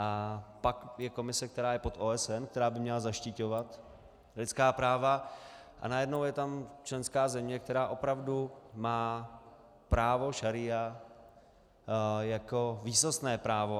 A pak je komise, která je pod OSD, která by měla zaštiťovat lidská práva, a najednou je tam členská země, která opravdu má právo šaría jako výsostné právo.